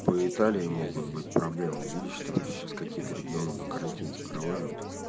по италии могут быть проблемы видишь там сейчас какие-то регионы на карантин закрывают